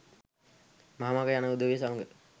මහ මඟ යන උදවිය සමඟ